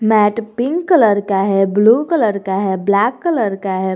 Met pink colour का है blue colour का है ब्लैक कलर का है।